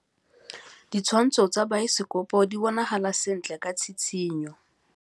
Ditshwantshô tsa biosekopo di bonagala sentle ka tshitshinyô.